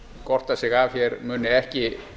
gorta sig af hér muni ekki